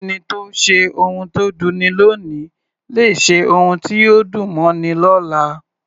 Ẹni tó ṣe ohun tó dunni lóòní lè ṣe ohun tí yóò dùn mọ́ni lọ́la.